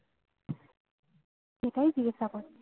সেটাই জিজ্ঞাসা করছি